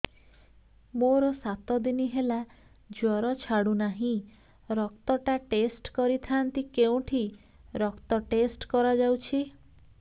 ମୋରୋ ସାତ ଦିନ ହେଲା ଜ୍ଵର ଛାଡୁନାହିଁ ରକ୍ତ ଟା ଟେଷ୍ଟ କରିଥାନ୍ତି କେଉଁଠି ରକ୍ତ ଟେଷ୍ଟ କରା ଯାଉଛି